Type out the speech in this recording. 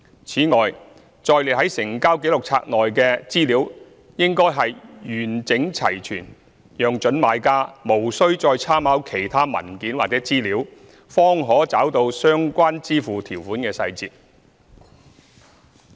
此外，載列在成交紀錄冊內的資料應完整齊全，讓準買家無須再參考其他文件或資料，才找到相關支付條款的細節。